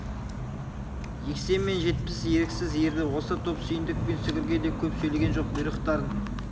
жексен мен жетпіс еріксіз ерді осы топ сүйіндік пен сүгірге де көп сөйлеген жоқ бұйрықтарын